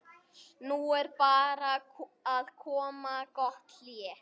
Nú er bara að koma gott hlé.